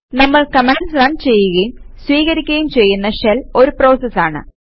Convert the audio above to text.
നമ്മൾ commands run ചെയ്യുകയും സ്വീകരിക്കുകയും ചെയ്യുന്ന ഷെൽ ഒരു പ്രോസസ് ആണ്